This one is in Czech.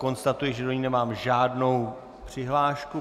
Konstatuji, že do ní nemám žádnou přihlášku.